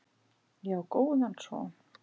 Ég á góðan son.